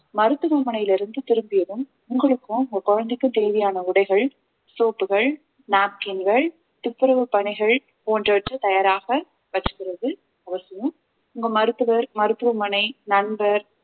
மருத்துவமனையிலிருந்து திரும்பியதும் உங்களுக்கும் உங்க குழந்தைக்கும் தேவையான உடைகள் soap புகள் napkin கள் துப்புரவு பணிகள் போன்றவற்றை தயாராக வெச்சுக்கறது அவசியம் உங்க மருத்துவர் மருத்துவமனை நண்பர்